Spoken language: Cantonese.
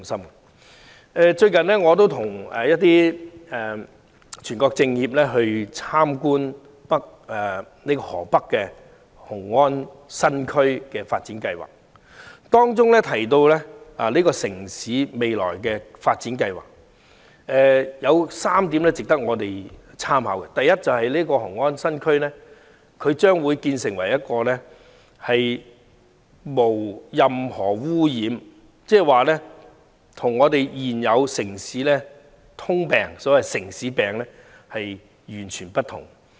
最近我亦與一些中國人民政治協商會議全國委員會委員參觀河北雄安新區的發展，該城市未來的發展計劃有3點值得我們參考：第一，雄安新區將會成為一個無污染地區，與現時普遍帶有"城市病"的城市截然不同。